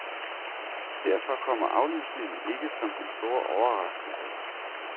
Derfor kommer aflysningen ikke som den store overraskelse.